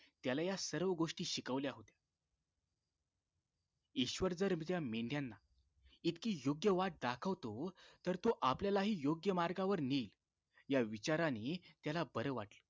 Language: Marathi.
त्याला या सर्व गोष्टी शिकवल्या होत्या ईश्वर जर या मेंढ्याना इतकी योग्य वाट दाखवतो तर तो आपल्यालाही योग्य मार्गावर नेईल या विचारांनी त्याला बरं वाटलं